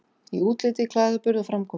Í útliti, klæðaburði, framkomu.